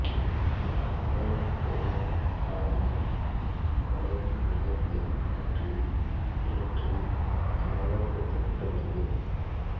இதில் நகரும் பொருளின் பாதையின் வளைவின் மையத்தைப் பற்றிய சுழற்சி சம்பந்தப்பட்டுள்ளது